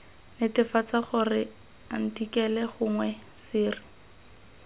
netefatsa gore athikele gongwe sere